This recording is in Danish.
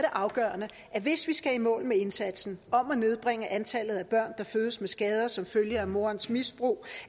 afgørende at hvis vi skal i mål med indsatsen om at nedbringe antallet af børn der fødes med skader som følge af morens misbrug